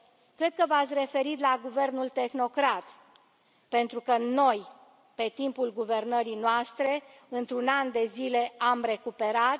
Cred că v ați referit la guvernul tehnocrat, pentru că noi, pe timpul guvernării noastre, într un an de zile am recuperat.